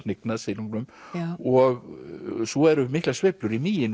hnignað silungnum og svo eru miklar sveiflur í